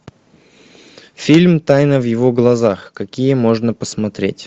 фильм тайна в его глазах какие можно посмотреть